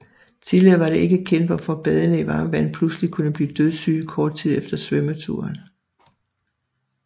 Tidligere var det ikke kendt hvorfor badende i varmt hav pludseligt kunne blive dødssyge kort tid efter svømmeturen